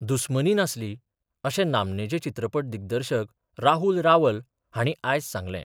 दुस्मनी नासली, अशें नामनेचे चित्रपट दिग्दर्शक राहुल रावल हांणी आयज सांगलें.